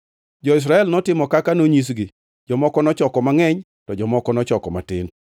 Jo-Israel notimo kaka nonyisgi; jomoko nochoko mangʼeny, to jomoko nochoko matin.